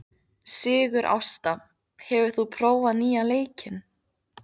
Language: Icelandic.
Sigurásta, hefur þú prófað nýja leikinn?